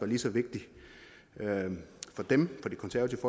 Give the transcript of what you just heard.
lige så vigtig for dem for det konservative